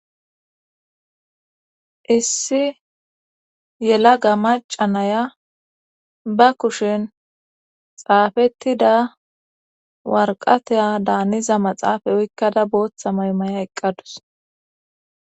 issi yela ga maca naya ba kushin xaafettida warqateya daaniza maxaafay oykkada booththa maymaya eqqadus